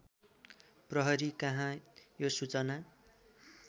प्रहरीकहाँ त्यो सूचना